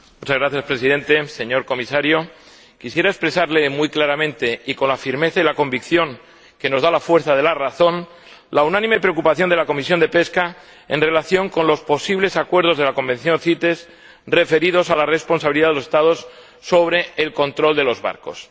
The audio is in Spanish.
Señor Presidente, señor Comisario, quisiera expresarle muy claramente, y con la firmeza y la convicción que nos da la fuerza de la razón, la unánime preocupación de la Comisión de Pesca en relación con los posibles acuerdos de la Convención CITES, referidos a la responsabilidad de los Estados sobre el control de los barcos.